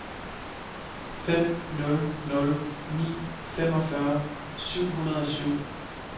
fem nul nul ni femogfyrre syv hundrede og syv